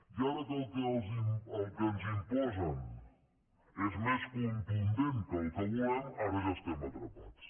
i ara que el que ens imposen és més contundent que el que volem ara ja estem atrapats